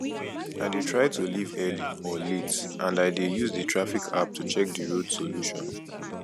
i dey try to leave early or late and i dey use di traffic app to check di road solution